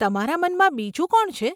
તમારા મનમાં બીજું કોણ છે?